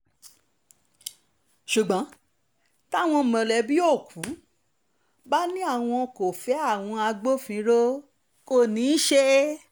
ṣùgbọ́n tí àwọn mọ̀lẹ́bí òkú bá ní àwọn kò fẹ́ àwọn agbófinró kò ní í ṣe é